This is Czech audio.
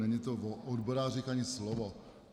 Není tam o odborářích ani slovo.